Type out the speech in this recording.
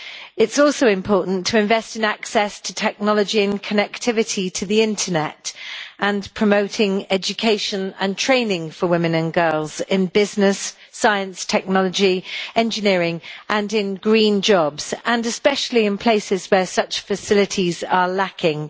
It is also important to invest in access to technology and connectivity to the internet and in promoting education and training for women and girls in business, science, technology, engineering and green jobs, especially in places where such facilities are lacking.